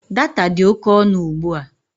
Data dị oke ọnụ ugbua